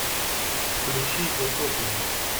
включи утопленник